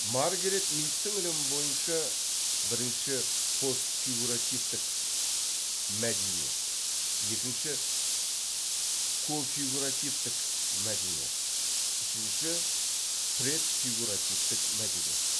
маргарет мидтің ілімі бойынша бірінші постфигуративтік мәдениет екінші кофигуративтік мәдениет үшінші предфигуративтік мәдениет